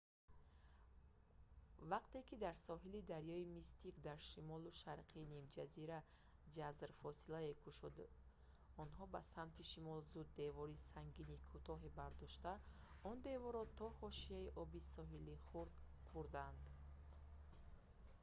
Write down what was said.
вақте ки дар соҳили дарёи мистик дар шимолу шарқи нимҷазира ҷазр фосилае кушод онҳо ба самти шимол зуд девори сангини кӯтоҳе бардошта он деворро то ҳошияи оби соҳили хурд бурданд